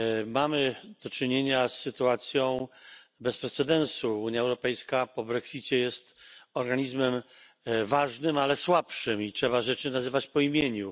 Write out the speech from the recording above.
Mamy do czynienia z sytuacją bez precedensu. Unia Europejska po brexicie jest organizmem ważnym, ale słabszym, i trzeba rzeczy nazywać po imieniu.